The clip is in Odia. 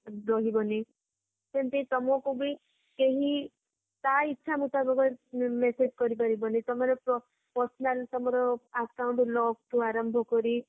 ରହିବନି ସେମିତି ତମକୁ କେହି ତା ଇଛା ମୁତାବକ message କରିପାରିବ ମାନେ ତମର personal ତମର account lock ଠୁ ଆରମ୍ଭ କରି